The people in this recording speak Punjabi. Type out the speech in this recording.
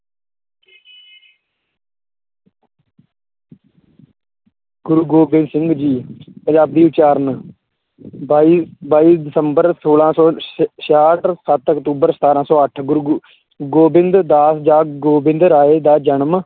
ਗੋਬਿੰਦ ਸਿੰਘ ਜੀ ਪੰਜਾਬੀ ਉਚਾਰਨ ਬਾਈ ਬਾਈ ਦਸੰਬਰ ਛੋਲਾਂ ਸੌ ਛ~ ਛਿਆਹਠ ਸੱਤ ਅਕਤੂਬਰ ਸਤਾਰਾਂ ਸੌ ਅੱਠ ਗੁਰੂ ਗੋ~ ਗੋਬਿੰਦ ਦਾ ਜਾਂ ਗੋਬਿੰਦ ਰਾਏ ਦਾ ਜਨਮ